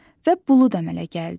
Və bulud əmələ gəldi.